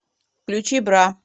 включи бра